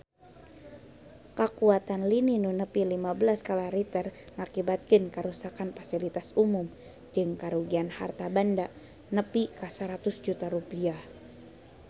Kakuatan lini nu nepi lima belas skala Richter ngakibatkeun karuksakan pasilitas umum jeung karugian harta banda nepi ka 100 juta rupiah